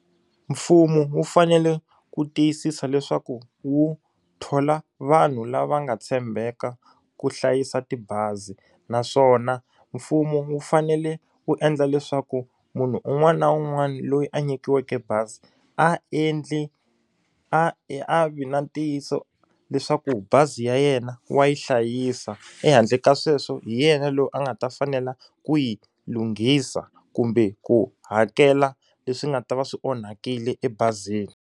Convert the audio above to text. Mfumo wu fanele wu tiyisisa leswaku wu thola vanhu lava nga tshembeka ku hlayisa tibazi naswona mfumo wu fanele wu endla leswaku munhu un'wana na un'wana loyi a nyikiweke bazi a endli a e a vi na ntiyiso leswaku bazi ya yena wa yi hlayisa ehandle ka sweswo hi yena loyi a nga ta fanela ku yi lunghisa kumbe ku hakela leswi nga ta va swi onhakile ebazini.